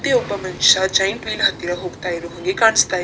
ಇಲ್ಲಿ ಒಬ್ಬ ಮನುಷ್ಯ ಜೈಂಟ್‌ವ್ಹೀಲ್ ಹತ್ತಿರ ಹೋಗ್ತಾ ಇರುವ ಹಾಗೆ ಕಾಣಿಸ್ತ ಇದೆ.